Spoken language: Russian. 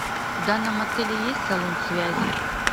в данном отеле есть салон связи